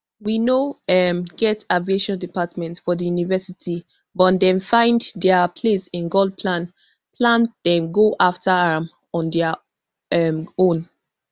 we no um get aviation department for di university but dem find dia place in god plan plan dem go afta am on dia um own